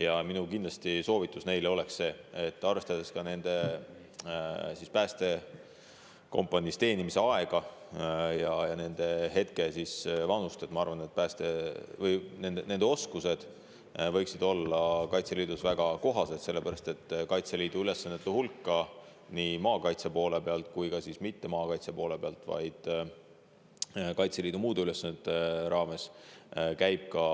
Ja minu soovitus neile oleks see: arvestades ka nende päästekompaniis teenimise aega ja nende hetke vanust, ma arvan, et nende oskused võiksid olla Kaitseliidus väga kohased, sellepärast et Kaitseliidu muude ülesannete hulka nii maakaitse kui ka mitte-maakaitse poole pealt käib ka